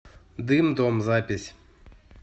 дым дом запись